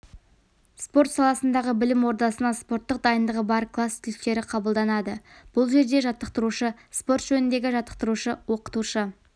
спорт саласындағы білім ордасына спорттық дайындығы бар класс түлектері қабылданады бұл жерде жаттықтырушы спорт жөніндегі жаттықтырушы-оқытушы